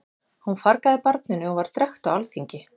Hún fargaði barninu og var drekkt á alþingi.